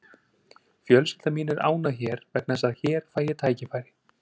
Fjölskylda mín er ánægð hér vegna þess að hér fæ ég tækifæri.